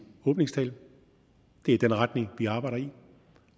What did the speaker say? åbningstale det er den retning vi arbejder i